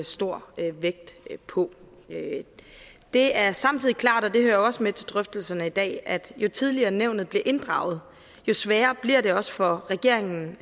stor vægt på det er samtidig klart og det hører jo også med til drøftelserne i dag at jo tidligere nævnet bliver inddraget jo sværere bliver det også for regeringen